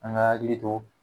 An ga akili to